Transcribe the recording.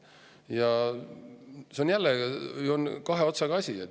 Ja see on jälle kahe otsaga asi.